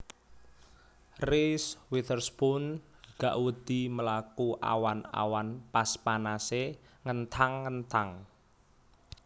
Reese Witherspoon gak wedi mlaku awan awan pas panase ngenthang ngenthang